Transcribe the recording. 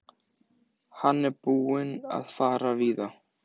Hann er búinn að fara víða.